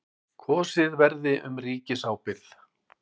Kosið verði um ríkisábyrgð